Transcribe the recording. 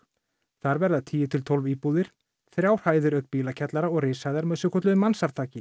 þar verða tíu til tólf íbúðir þrjár hæðir auk bílakjallara og rishæðar með svokölluðu